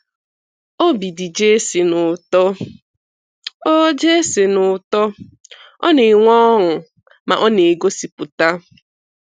Obi dị Jason ụtọ, Ọ Jason ụtọ, Ọ na-enwe ọṅụ, ma ọ na-egosipụta.